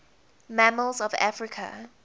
mammals of africa